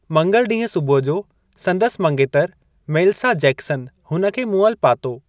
मंगल ॾींहुं सुबुह जो संदसि मंगेतर मेलिसा जैक्सन हुन खे मुअलु पातो।